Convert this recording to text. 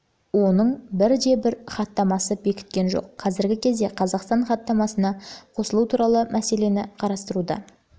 ол оның бірде бір хаттамасын бекіткен жоқ қазіргі кезде қазақстан хаттамасына қосылу туралы мәселені қарастыруда